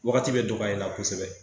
Wagati bɛ dɔgɔya i la kosɛbɛ